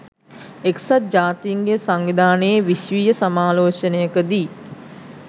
එක්සත් ජාතීන්ගේ සංවිධානයේ විශ්වීය සමාලෝචනයකදී